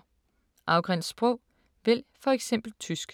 Afgræns sprog: vælg for eksempel tysk